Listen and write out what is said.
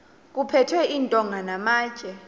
kuphethwe iintonga namatye